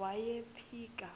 wayiphika